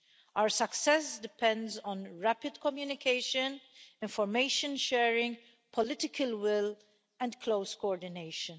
Our success depends on rapid communication, information sharing, political will and close coordination.